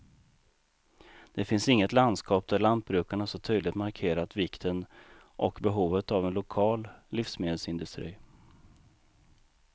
Det finns inget landskap där lantbrukarna så tydligt markerat vikten och behovet av en lokal livsmedelsindustri.